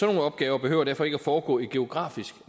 nogle opgaver behøver derfor ikke at foregå i geografisk